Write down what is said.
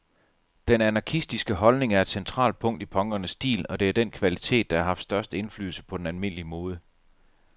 Den anarkistiske holdning er et centralt punkt i punkernes stil, og det er den kvalitet, der har haft størst indflydelse på den almindelige mode.